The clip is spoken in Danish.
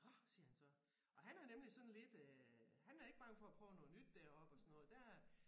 Nåh siger han så og han er nemlig sådan lidt øh han er ikke bange for at prøve noget nyt deroppe og sådan noget der øh